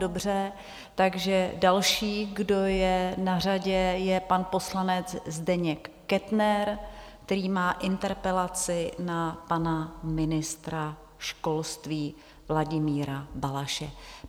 Dobře, takže další, kdo je na řadě, je pan poslanec Zdeněk Kettner, který má interpelaci na pana ministra školství Vladimíra Balaše.